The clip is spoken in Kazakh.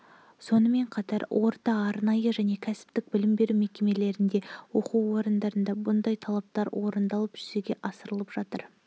сонымен қатар орта арнайы және кәсіптік білім беру мекемелерінде оқу орындарында бұндай талаптар орындалып жүзеге асырылып жатыр